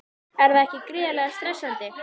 Er það ekki gríðarlega stressandi?